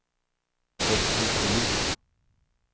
Gottfrid Melin